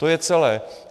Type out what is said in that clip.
To je celé.